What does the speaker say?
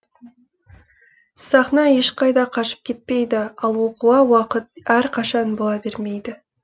сахна ешқайда қашып кетпейді ал оқуға уақыт әрқашан бола бермейді